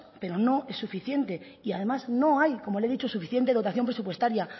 pero no es suficiente y además no hay como le he dicho suficiente dotación presupuestaria